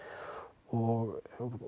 og